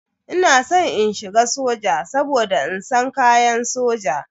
Ina san in shiga soja saboda ina san kayan soja.